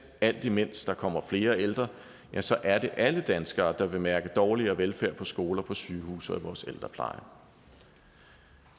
alt imens der kommer flere ældre så er det alle danskere der vil mærke dårligere velfærd på skoler på sygehuse og i vores ældrepleje